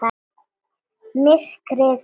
Myrkrið undir sjónum.